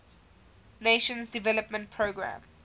nations development programme